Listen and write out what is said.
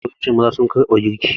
Mafi yawancin maza sun ƙarɓe girki.